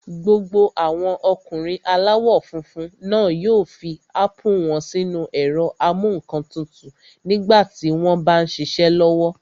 Gbogbo àwọn ọkùnrin aláwọ̀ funfun náà yóò fi ápù wọ́n sínu ẹ̀rọ-amúǹkantutù nígbà tí wọ́n m bá ṣiṣẹ́ lọ́wọ́